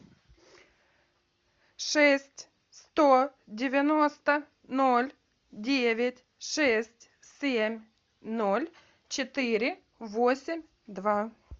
шесть сто девяносто ноль девять шесть семь ноль четыре восемь два